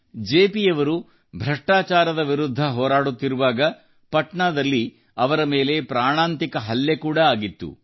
JP ಯವರು ಭ್ರಷ್ಟಾಚಾರದ ವಿರುದ್ಧ ಹೋರಾಡುತ್ತಿರುವಾಗ ಪಾಟ್ನಾದಲ್ಲಿ ಅವರ ಮೇಲೆ ಪ್ರಾಣಾಂತಿಕ ಹಲ್ಲೆ ಕೂಡ ಆಗಿತ್ತು